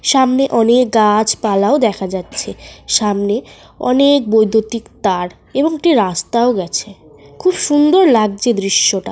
সামনে অনেক গাছপালাও দেখা যাচ্ছে। সামনে অনেক বৈদ্যুতিক তার এবং একটি রাস্তাও গেছে। খুব সুন্দর লাগছে দৃশ্যটা।